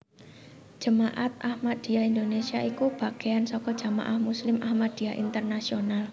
Jemaat Ahmadiyah Indonésia iku bagéan saka Jamaah Muslim Ahmadiyah Internasional